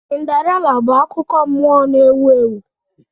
Cinderella bụ akụkọ nmụọ na-ewu ewu.